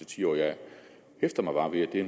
ti år jeg hæfter mig bare ved at det